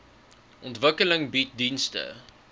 ontwikkeling bied dienste